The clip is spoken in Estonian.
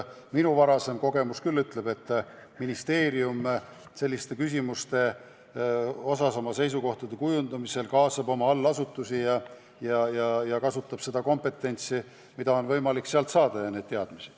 Minu varasem kogemus igatahes ütleb, et ministeerium kaasab selliste küsimuste puhul oma seisukohtade kujundamisel oma allasutusi ja kasutab kompetentsi, mida on võimalik sealt saada.